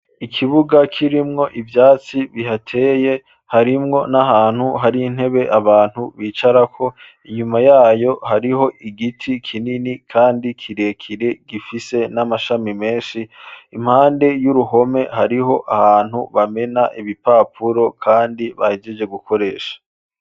Ikibuga kirimwo ivyatsi bihateye harimwo n'ahantu hari intebe abantu bicarako inyuma yayo hariho igiti kinini kandi kirekire gifise n'amashami menshi impande y'uruhome hariho ahantu bamena ibipapuro kandi bahejeje gukoresha.